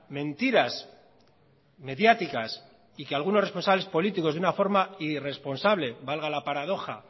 mentiras mediáticas y que algunos responsables políticos de una forma irresponsable valga la paradoja